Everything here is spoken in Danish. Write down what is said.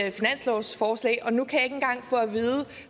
et finanslovsforslag og nu kan jeg ikke engang få